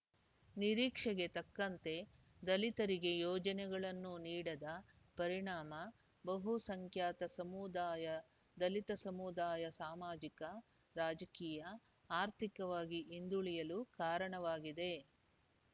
ನಿರೀಕ್ಷೆಗೆ ತಕ್ಕಂತೆ ದಲಿತರಿಗೆ ಯೋಜನೆಗಳನ್ನು ನೀಡದ ಪರಿಣಾಮ ಬಹುಸಂಖ್ಯಾತ ಸಮುದಾಯ ದಲಿತ ಸಮುದಾಯ ಸಾಮಾಜಿಕ ರಾಜಕೀಯ ಆರ್ಥಿಕವಾಗಿ ಹಿಂದುಳಿಯಲು ಕಾರಣವಾಗಿದೆ